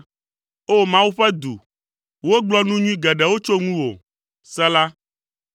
O! Mawu ƒe du, wogblɔ nu nyui geɖewo tso ŋuwò. Sela